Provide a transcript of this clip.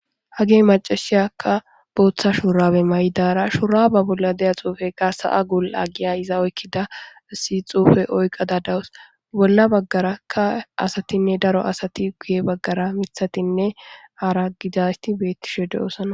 Hage macashiyakka booththa shurawe maydara shuraba bolla deya xuufeqa sa'a guul aggiya iza oykkida isi xuufe oyqa da dawus bolla baggarakka asatinne daro asati guye baggara mithatinne aara gidasti beetti shode osana.